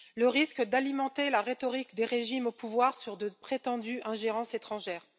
le risque d'alimenter la rhétorique des régimes au pouvoir sur de prétendues ingérences étrangères